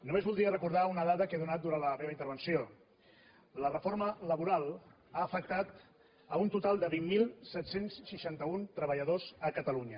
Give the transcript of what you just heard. només voldria recordar una dada que he donat durant la meva intervenció la reforma laboral ha afectat un total de vint mil set cents i seixanta un treballadors a catalunya